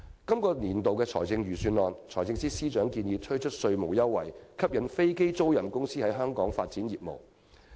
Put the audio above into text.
財政司司長在本年度的預算案建議推出稅務優惠，以吸引飛機租賃公司在香港發展業務。